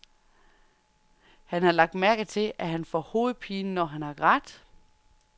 Han har lagt mærke til, at han får hovedpine, når han har grædt.